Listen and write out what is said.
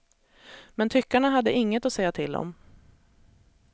Men tyckarna hade inget att säga till om.